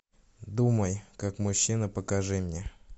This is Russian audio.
думай как мужчина покажи мне